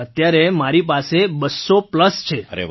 મંજૂર જી અત્યારે મારી પાસે ૨૦૦ પ્લસ છે